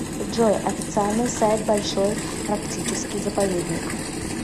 джой официальный сайт большой арктический заповедник